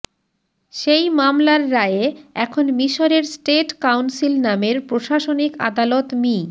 সেই মামলার রায়ে এখন মিশরের স্টেট কাউন্সিল নামের প্রশাসনিক আদালত মি